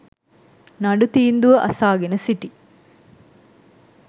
නඩු තීන්දුව අසාගෙන සිටි